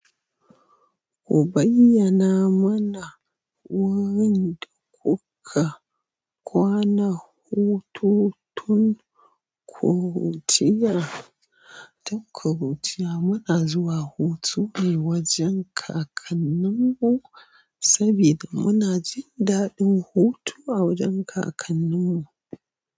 Ku bayyana mana wurin da kuka kwana, hototun ƙuruciyar, tun ƙuruciya mana zuwa hutu ne wajen kakanninmu saboda muna jin daɗin hutu a wajen kakanninmu.